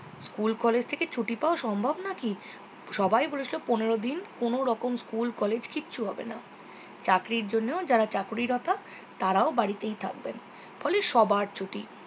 school college থেকে ছুটি পাওয়া সম্ভব নাকি সবাই বলেছিলো পনেরো দিন কোনোরকম school college কিছু হবে না চাকরীর জন্য যারা চাকুরীরত তারাও বাড়িতেই থাকবেন ফলে সবার ছুটি